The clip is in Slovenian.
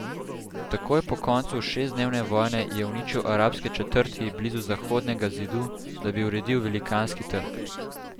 Takoj po koncu šestdnevne vojne je uničil arabske četrti blizu Zahodnega zidu, da bi uredil velikanski trg.